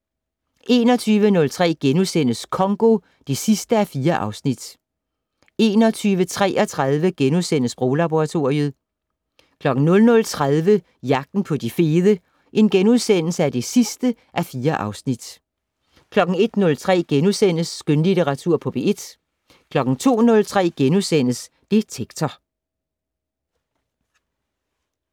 21:03: Congo (4:4)* 21:33: Sproglaboratoriet * 00:30: Jagten på de fede (4:4)* 01:03: Skønlitteratur på P1 * 02:03: Detektor *